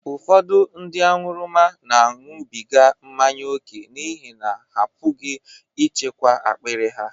Ụfọdụ ndị aṅụrụma na-aṅụbiga mmanya ókè n’ihi na ha apụghị ịchịkwa akpiri ha.